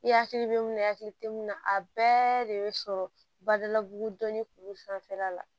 I hakili bɛ mun na i hakili tɛ mun na a bɛɛ de bɛ sɔrɔ badalabugu dɔnnin kuru sanfɛla la